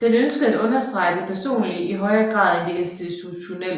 Den ønskede at understrege det personlige i højere grad end det institutionelle